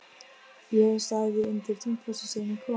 Ég hef staðið undir Tungufossi síðan ég kom.